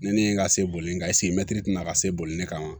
Ne ni n ka se boli in kan mɛtiri tɛna ka se boli ne kama